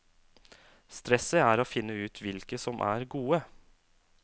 Stresset er å finne ut hvilke som er gode.